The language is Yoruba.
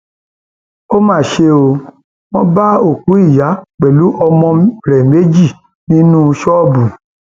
ó mà ṣe ó wọn bá òkú ìyá pẹlú àwọn ọmọ rẹ méjì nínú ṣọọbù